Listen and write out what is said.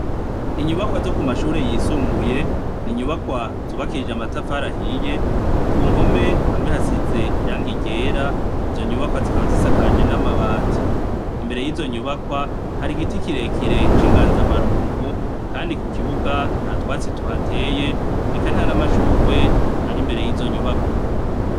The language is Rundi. Inyubakwa zo ku mashure yisumbuye ni inyubakwa zubakishije amatafari ahiye. Ku mpome hamwe hasize irangi ryera. Izo nyubakwa zikaba zisakaje n'amabati. Imbere y'izo nyubakwa hari igiti kirekire c'inganzamarumpu, kandi ku kibuga nta twatsi tuhateye, eka nta n'amashurwe ari imbere y'izo nyubakwa.